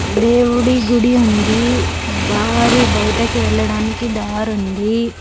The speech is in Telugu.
దేవుడి గుడి ఉంది దారి బయటకి వెళ్ళడానికి దారి ఉంది.